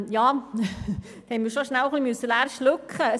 Ja da haben wir schon leer schlucken müssen.